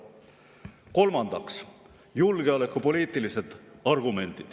Kolmandaks, julgeolekupoliitilised argumendid.